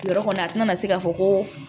Yɔrɔ kɔni a tɛna se k'a fɔ ko